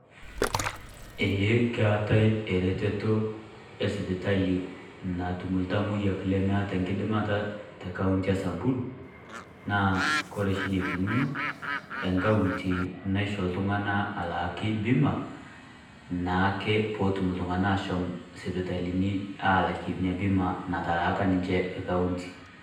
Eeh keetai ereteto e sipitali natum iltamoyiak leemeta nkidimata te kauntii e samburu, naa kore shi neikununo ekaunti naishoo iltung'ana alaaki bima naake poo otum iltung'ana ashom sipitalini alaike enya bima natalaaka ninchee ekaunti.